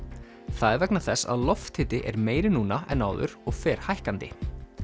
það er vegna þess að lofthiti er meiri núna en áður og fer hækkandi